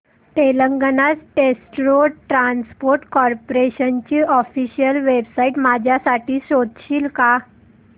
Telangana state road transport corporation ची official website माझ्यासाठी शोधशील का